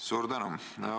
Suur tänu!